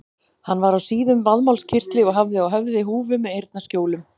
Hann var á síðum vaðmálskyrtli og hafði á höfði húfu með eyrnaskjólum.